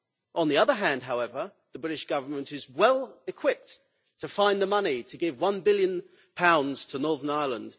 On the other hand, however, the British Government is well equipped to find the money to give GBP 1 billion to Northern Ireland.